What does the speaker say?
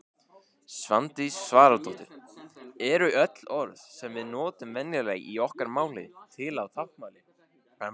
Svandís Svavarsdóttir Eru öll orð sem við notum venjulega í okkar máli til á táknmáli?